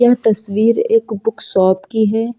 यह तस्वीर एक बुक शॉप की है।